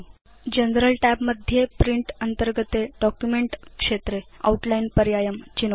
general tab मध्ये print अन्तर्गते document क्षेत्रे आउटलाइन् पर्यायं चिनोतु